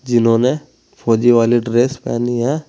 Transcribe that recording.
जिन्होंने फौजी वाली ड्रेस पहनी है।